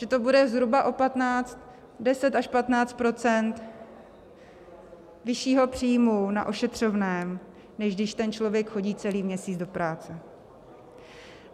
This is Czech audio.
Že to bude zhruba o 10 až 15 % vyššího příjmu na ošetřovném, než když ten člověk chodí celý měsíc do práce.